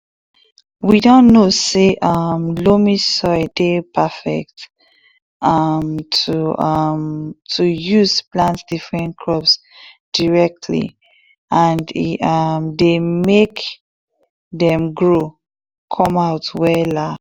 we don know say um loamy soil dey perfect um to